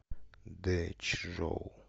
дэчжоу